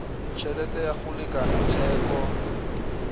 tšhelete ya go lekana theko